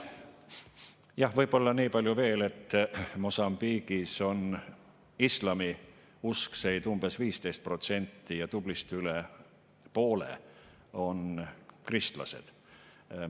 Jah, võib-olla niipalju veel, et Mosambiigis on islamiuskseid umbes 15% ja tublisti üle poole on kristlased.